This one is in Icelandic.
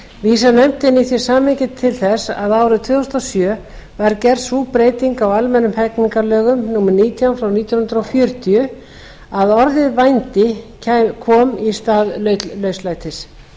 vísar nefndin í því samhengi til þess að árið tvö þúsund og sjö var gerð sú breyting á almennum hegningarlögum númer nítján nítján hundruð fjörutíu að orðið vændi kom í stað lauslætis